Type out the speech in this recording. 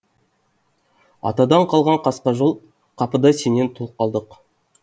атадан қалған қасқа жол қапыда сенен тұл қалдық